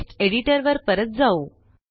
text एडिटरवर परत जाऊ